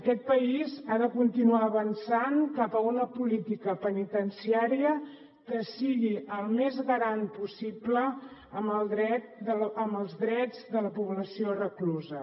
aquest país ha de continuar avançant cap a una política penitenciària que sigui el més garant possible amb els drets de la població reclusa